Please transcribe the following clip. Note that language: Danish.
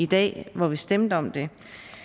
dag hvor vi stemte om det